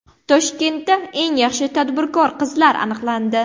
Toshkentda eng yaxshi tadbirkor qizlar aniqlandi.